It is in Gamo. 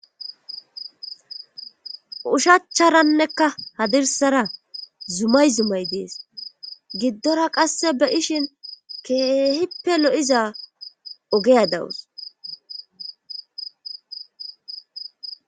Ushacharannekka hadirsara zumay zumay dees giddora qasse be ishin keehippe lo'iza ogeya dawus